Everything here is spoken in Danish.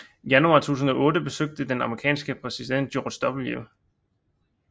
I januar 2008 besøgte den amerikanske præsident George W